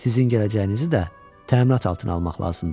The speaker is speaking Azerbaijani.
Sizin gələcəyinizi də təminat altına almaq lazımdır.